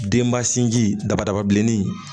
Denba sinji dabada ba bilennin